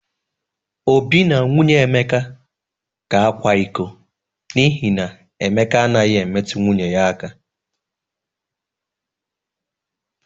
Obi na nwunye Emeka ga-akwa iko n'ihi na Emeka anaghị emetu nwunye ya aka.